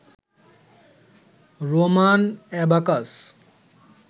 Roman abacus